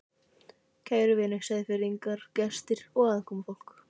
Kæru vinir, Seyðfirðingar, gestir og aðkomufólk